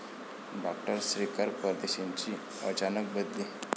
डॉ. श्रीकर परदेशींची अचानक बदली?